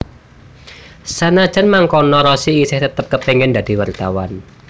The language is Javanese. Sanajan mangkono Rossi isih tetep kepéngin dadi wartawan